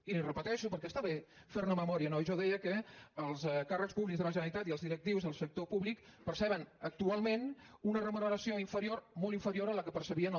i li ho repeteixo perquè està bé fer·ne memòria no jo deia que els càrrecs públics de la generalitat i els directius del sector públic perceben actualment una remuneració inferior molt inferior a la que percebien el